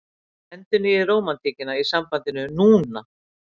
Endurnýið rómantíkina í sambandinu NÚNA!